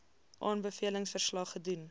aanbevelings verslag gedoen